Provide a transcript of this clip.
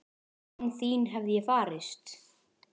Án þín hefði ég farist?